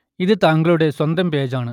ഇത് താങ്കളുടെ സ്വന്തം പേജ് ആണ്